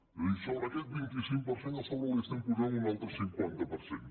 és a dir sobre aquest vint cinc per cent a sobre hi estem posant un altre cinquanta per cent